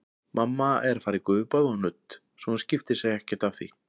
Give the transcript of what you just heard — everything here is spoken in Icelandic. Mamma er að fara í gufubað og nudd, svo hún skiptir sér ekkert af því.